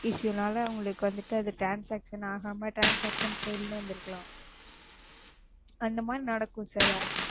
Issue னால உங்களுக்கு வந்துட்டு அது Transaction ஆகாம Transaction fail ன்னு வந்துருக்கலாம். அந்த மாதிரி நடக்கும் Sir,